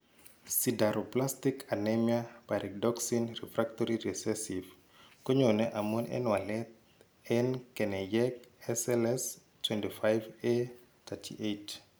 Sideroblastic anemia pyridoxine refactory recessive konyoone amun en walet en keneyeek SLS25A38.